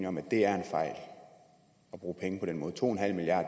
om at det er en fejl at bruge penge på den måde to